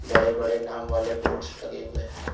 बड़े बड़े नाम वाले बोर्ड्स लगे हुए हैं।